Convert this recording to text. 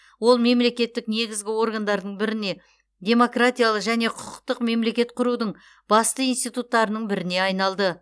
ол мемлекеттік негізгі органдардың біріне демократиялы және құқықтық мемлекет құрудың басты институттарының біріне айналды